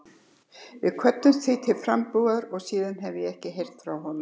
Við kvöddumst því til frambúðar og síðan hef ég ekki heyrt frá honum.